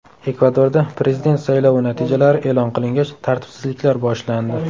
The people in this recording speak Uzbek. Ekvadorda prezident saylovi natijalari e’lon qilingach, tartibsizliklar boshlandi .